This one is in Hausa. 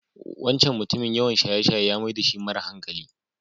Wancan mutumin yawan shaye-shaye ya mai dashi mara hankali.